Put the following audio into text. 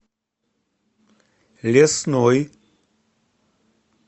лесной